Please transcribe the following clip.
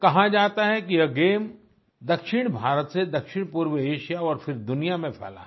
कहा जाता है कि यह गेम दक्षिण भारत से दक्षिणपूर्व एशिया और फिर दुनिया में फैला है